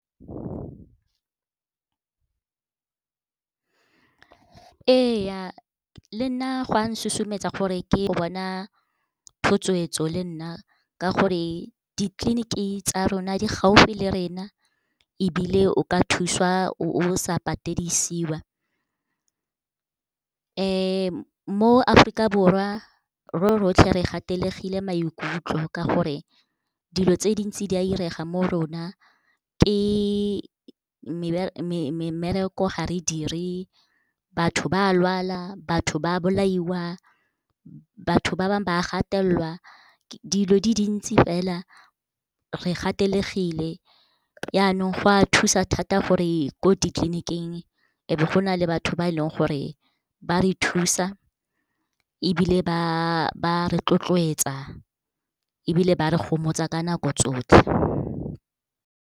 Ee le nna gwa susumetsa gore ke yo bona thotloetso le nna, ka gore ditleliniki tsa rona di gaufi le rena ebile o ka thusiwa o sa patedisiwa. Mo Aforika Borwa, ro rotlhe re gatelegile maikutlo, ka gore dilo tse dintsi di a 'irega mo rona, ke mmereko ga re dire, batho ba lwala, batho ba bolaiwa, batho ba bangwe ba a gatelelwa, dilo di dintsi fela. Re gatelegile, yanong go a thusa thata gore ko ditleliniking e be go na le batho ba e leng gore ba re thusa, ebile ba , ebile ba re gomotsa ka nako tsotlhe.